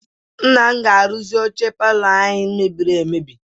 Nna m ga-arụzi oche palọ anyị mebiri emebi.